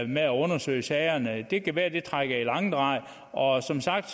med at undersøge sagerne det kan være at det trækker i langdrag og som sagt